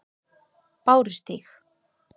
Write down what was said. Bárustíg